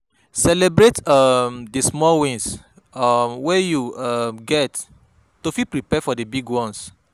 Celebrate um di small wins um wey you um get to fit prepare for di big ones